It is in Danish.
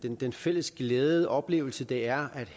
den fælles glæde og oplevelse det er